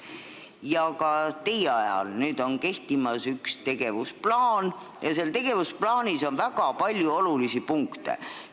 Ka teie ministriks olemise ajal on kehtimas üks tegevusplaan ja seal on väga palju olulisi punkte.